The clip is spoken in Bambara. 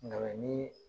Nka ni